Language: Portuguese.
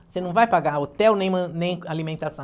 Você não vai pagar hotel nem man nem alimentação.